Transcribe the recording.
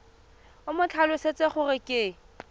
o mo tlhalosetse gore ke